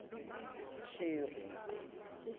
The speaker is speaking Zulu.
sheri